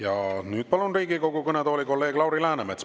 Ja nüüd palun Riigikogu kõnetooli kolleeg Lauri Läänemetsa.